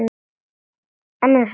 En mér er sama.